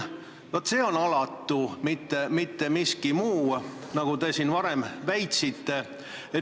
Vot see on alatu, mitte miski muu, nagu te siin varem väitsite.